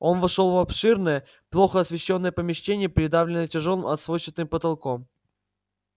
он вошёл в обширное плохо освещённое помещение придавленное тяжёлым сводчатым потолком